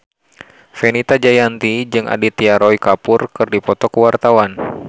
Fenita Jayanti jeung Aditya Roy Kapoor keur dipoto ku wartawan